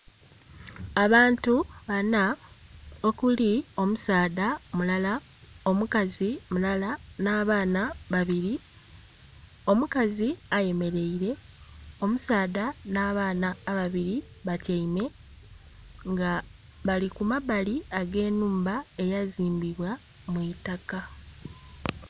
Abantu banha okuli omusaadha mulala, omukazi mulala nh'abaana babiri. Omukazi ayemeleire, omusaadha nh'abaana ababiri batyaime. Nga bali ku mabbali ag'ennhumba eyazimbibwa mu itaka.